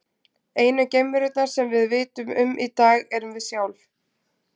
Einu geimverurnar sem við vitum um í dag erum við sjálf.